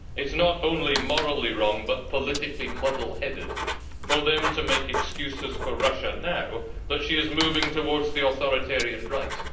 It is not only morally wrong, but politically muddle headed for them to make excuses for Russia now that she is moving towards the authoritarian right.